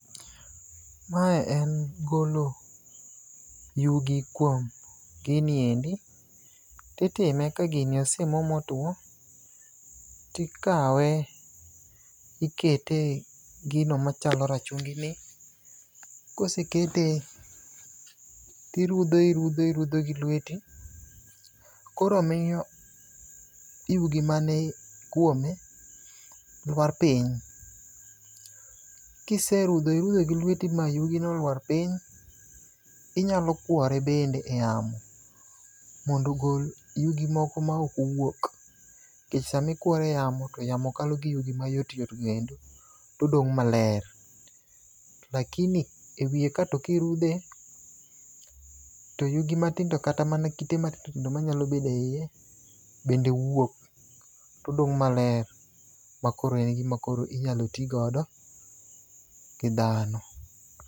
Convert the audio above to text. Mae en golo yugi kuom gini endi . Titime ka gini osemo motwo, tikawe, ikete e gino machalo rachungini. Kosekete to irudhe irudhe irudhe gi lweti. Koro miyo yugi mani kuome lwar piny. Kiserudho irudo gi lweti ma yugino olwar piny, inyalo kwore bende e yamo mondo ogol yugi moko ma ok owuok. Nikech sama ikwore e yamo, to yamo kalo gi yugi mayot yot go endo, todong' maler. To lakini e wiye ka to kirudhe, to yugi matindo kata mana kite matindo tindo manyalo bedo e iye, bende wuok. Todong' maler, ma koro en gima koro inyalo ti godo gi dhano.